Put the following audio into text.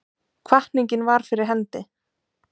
Hvatningin var fyrir hendi.